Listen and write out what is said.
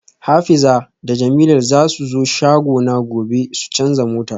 Hadiza da jemilat zasu zo shagona gobe su canza mota